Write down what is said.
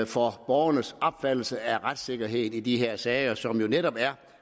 for borgernes opfattelse af retssikkerheden i de her sager som jo netop er